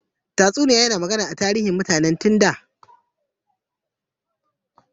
Tatsuniya yana magana akan tarihin mutane tun da.